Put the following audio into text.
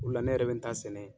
O de la ne yɛrɛ bɛ n ta sɛnɛ.